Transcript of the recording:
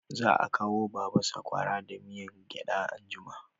Za a kawo ma baba sakwara da miyan gyada anjima